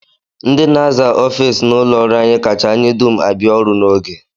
Ndị na-aza ofiisi n'ụlọọrụ anyị kacha anyị dum abịa ọrụ n'oge